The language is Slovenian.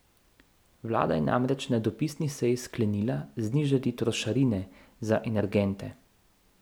Vlada je namreč na dopisni seji sklenila znižati trošarine za energente.